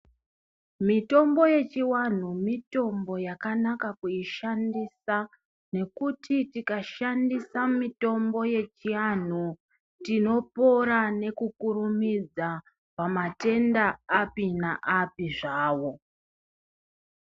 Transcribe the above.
Mitombo yechiantu mitombo yakanaka kuishandisa nekuti tikashandisa mitombo yechiantu tinopora nekukurumidza pamatenda api naapi zvawo.